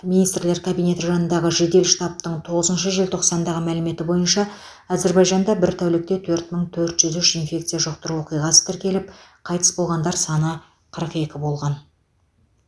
министрлер кабинеті жанындағы жедел штабтың тоғызыншы желтоқсандағы мәліметі бойынша әзербайжанда бір тәулікте төрт мың төрт жүз үш инфекция жұқтыру оқиғасы тіркеліп қайтыс болғандар саны қырық екі болған